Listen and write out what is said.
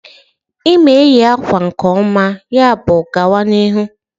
Ị ma eyi akwa nke ọma, yabụ gawa n'ihu